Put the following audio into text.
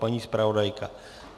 Paní zpravodajka?